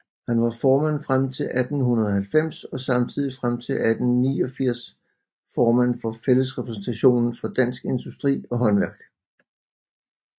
Han var formand frem til 1890 og samtidig frem til 1889 formand for Fællesrepræsentationen for dansk Industri og Haandværk